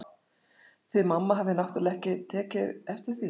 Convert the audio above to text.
Þið mamma hafið náttúrlega ekki einu sinni tekið eftir því.